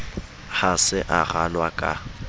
ha se a ralwa ka